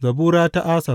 Zabura ta Asaf.